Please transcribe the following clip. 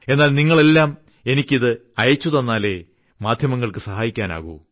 എന്നാൽ നിങ്ങൾ എല്ലാം എനിക്ക് ഇത് അയച്ചുതന്നാലെ മാധ്യമങ്ങൾക്ക് സഹായിക്കാനാകൂ